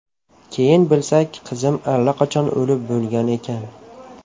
Keyin bilsak, qizim allaqachon o‘lib bo‘lgan ekan.